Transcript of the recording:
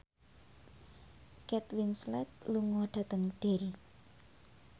Kate Winslet lunga dhateng Derry